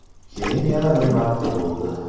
Keyin yana bir marta bo‘ldi.